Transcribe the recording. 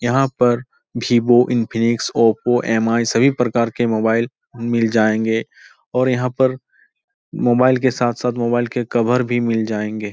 यहाँ पर Vivo Infinix Oppo MI सभी प्रकार के मोबाइल मिल जायेगें और यहाँ पर मोबाइल के साथ-साथ मोबाइल के कवर भी मिल जायेगें।